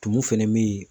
Tumu fɛnɛ be yen